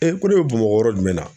ko ne bɛ Bamabɔ yɔrɔ jumɛn na